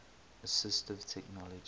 assistive technology